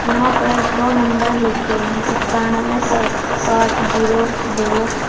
यहां पर दो नंबर लिखे हैं सत्तानवे साठ जीरो दो।